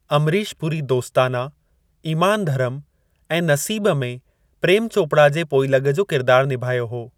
अमरीश पुरी दोस्ताना, इमान धरम ऐं नसीब में प्रेम चोपड़ा जे पोइलॻु जो किरदार निभायो हो।